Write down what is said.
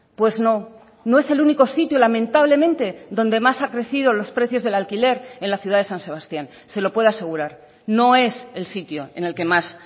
pues no no es el único sitio lamentablemente donde más ha crecido los precios del alquiler en la ciudad de san sebastián se lo puedo asegurar no es el sitio en el que más